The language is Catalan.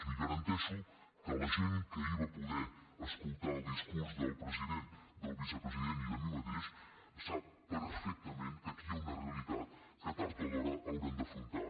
li garanteixo que la gent que ahir va poder escoltar el discurs del president del vice president i de mi mateix sap perfectament que aquí hi ha una realitat que tard o d’hora hauran d’afrontar